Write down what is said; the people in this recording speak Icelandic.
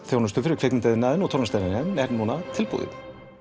þjónustu fyrir kvikmyndaiðnaðinn er núna tilbúinn